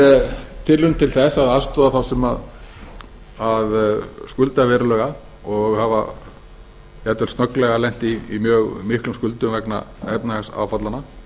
er tilraun til að aðstoða þá sem skulda verulega og hafa jafnvel snögglega lent í mjög miklum skuldum vegna efnahagsáfallanna